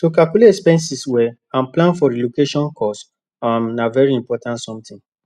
to calculate expenses well and plan for relocation cost um na very important something